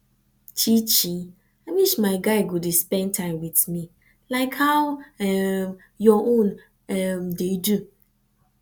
chichi i wish my guy go dey spend time with me like how um your own um dey do